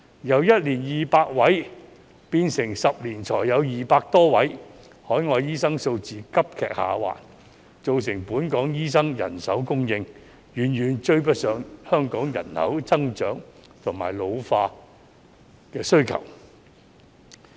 由1年200位，變成10年才有200多位，海外醫生數字急劇下滑，造成本港醫生人手供應遠遠追不上香港人口增長及老化的需求。